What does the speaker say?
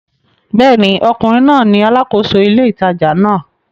Bẹ́ẹ̀ ni, ọkùnrin náà ni alákòóso ile ìtajà náà